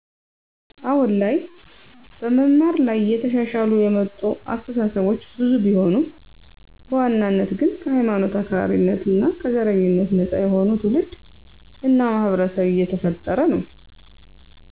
አሁን ላይ በመማር ላይ እየተሻሻሉ የመጡ አስተሳሰቦች ብዙ ቢሆኑም በዋናነት ግን ከሀይማኖት አክራሪነት እና ከዘረኝነት ነፃ የሆነ ትውልድ እና ማህበረሰብ እየተፈጠረ ነው።